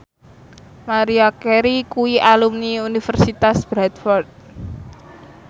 Maria Carey kuwi alumni Universitas Bradford